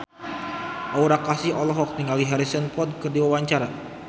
Aura Kasih olohok ningali Harrison Ford keur diwawancara